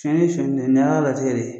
Sɔnyali de ye nin y'Ala ka latikɛ de ye